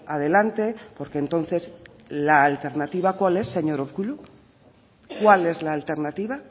adelante porque entonces la alternativa cuál es señor urkullu cuál es la alternativa